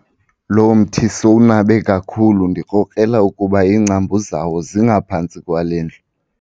Lo mthi sowunabe kakhulu ndikrokrela ukuba iingcambu zawo zingaphantsi kwale ndlu.